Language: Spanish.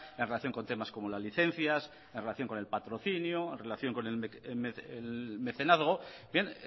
en relación con temas como las licencias en relación con el patrocinio en relación con el mecenazgo bien